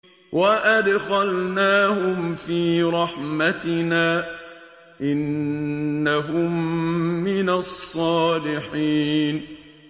وَأَدْخَلْنَاهُمْ فِي رَحْمَتِنَا ۖ إِنَّهُم مِّنَ الصَّالِحِينَ